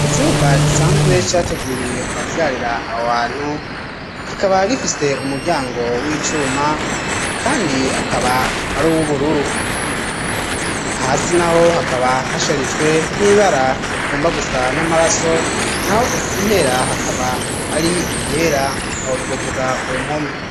Icumba gisanzwe'categuriwe abavyarira awantu gikaba gifise umuryango w'icuma, kandi hakaba ari uwo ubururu hasi na ho hakaba hasharijwe n'ibara igomba gusa n'amaraso na ho impera hakaba ari igera ahotwavugako mpome.